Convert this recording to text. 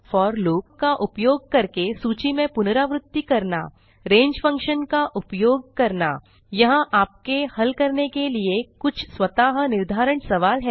four loop का उपयोग करके सूची में पुनरावृत्ति करना range फंक्शन का उपयोग करना यहाँ आपके हल करने के लिए कुछ स्वतः निर्धारण सवाल हैं